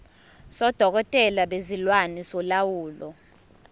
sodokotela bezilwane solawulo